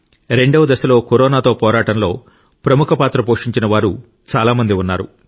రెండవ దశలో కరోనాతో పోరాటంలో ప్రముఖ పాత్ర పోషించిన వారు చాలా మంది ఉన్నారు